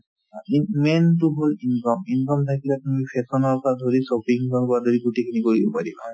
অ, main তো হ'ল income income থাকিলে তুমি fashion ৰ পৰা ধৰি shopping ৰ পৰা ধৰি গোটেই খিনি কৰিব পাৰিবা